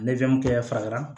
kɛ fara